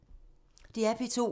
DR P2